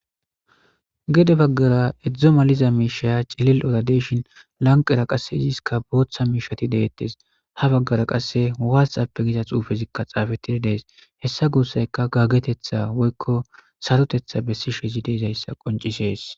gede baggara edzdzo maliza miishaya cililora deshin lanqera qasse iziska booththa miishati deettes ha baggara qasse watisappe giza xuufezikka xaafetidi dees hessa guussayka gaggetetha woykko sarotetha bessishezi de'ezayssa qoncisees